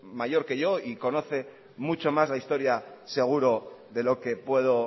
mayor que yo y conoce mucho más la historia seguro de lo que puedo